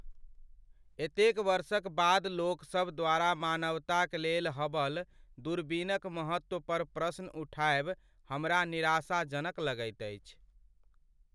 एतेक वर्षक बाद लोकसभ द्वारा मानवताक लेल हबल दूरबीनक महत्व पर प्रश्न उठाएब हमरा निराशाजनक लगैत अछि।